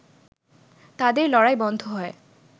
তাদের লড়াই বন্ধ হয়